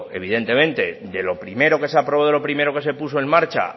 evidentemente que de lo primero que se aprobó de lo primero que se puso en marcha